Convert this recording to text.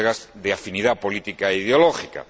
Sus colegas de afinidad política e ideológica.